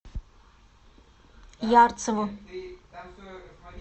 ярцеву